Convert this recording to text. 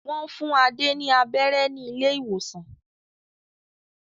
Wọ́n fún Adé ní abẹ́rẹ́ ní ilé-ìwòsàn.